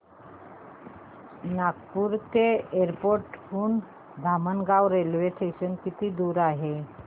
Nagpur airport हून Dhamangaon railway station किती दूर आहे